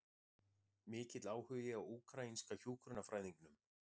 Mikill áhugi á úkraínska hjúkrunarfræðingnum